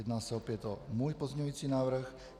Jedná se opět o můj pozměňovací návrh.